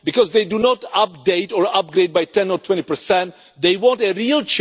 Because they do not update or upgrade by 10 or 20, they want a real change, they want a revolution.